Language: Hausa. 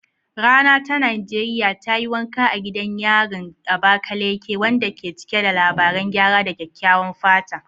Rana ta Najeriya ta yi wanka a gidan yarin Abakaleke, wanda ke cike da labaran gyara da kyakkyawan fata.